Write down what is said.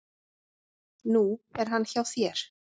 Nú er hann hjá þér.